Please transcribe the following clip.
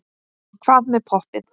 En hvað með poppið?